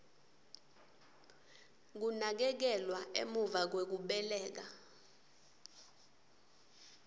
kunakekelwa emuva kwekubeleka